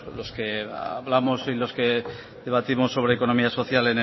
los que hablamos y los que debatimos sobre economía social